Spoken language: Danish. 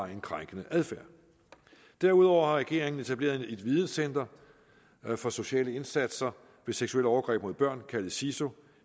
en krænkende adfærd derudover har regeringen etableret et videncenter for sociale indsatser ved seksuelle overgreb mod børn kaldet siso